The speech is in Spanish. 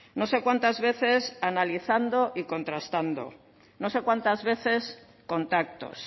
no sé cuántas veces analizando y contrastando no sé cuántas veces contactos